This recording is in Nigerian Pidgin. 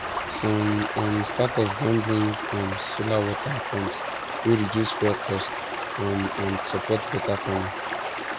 some um startups don bring um solar water pumps wey reduce fuel cost um and support better farming